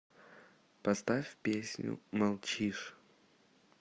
поставь песню молчишь